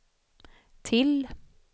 till